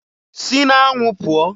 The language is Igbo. Si n'anwụ pụọ!